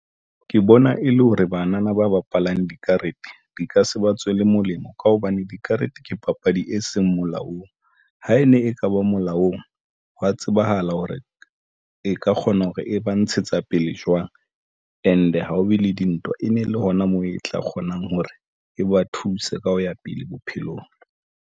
Ke bona e le hore banana ba bapalang dikarete di ka se ba tswele molemo ka hobane dikarete ke papadi e seng molaong. Ha e ne e kaba molaong, he's tsebahala hore e ka kgona hore e ba ntshetsa pele jwang. And ha ho be le dintwa, e ne le hona moo e tla kgonang hore e ba thuse ka ho ya pele bophelong.